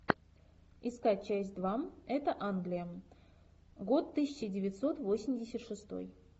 искать часть два это англия год тысяча девятьсот восемьдесят шестой